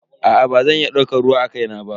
Aa bazan iya daukar ruwa akai na ba.